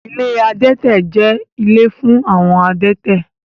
Ilé adẹ́tẹ̀ jẹ́ ilé fún àwọn adẹ́tẹ̀